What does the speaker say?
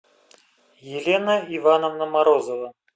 елена ивановна морозова